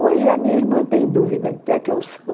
Hoje a minha irmã tem dúvida do que é que eu sou.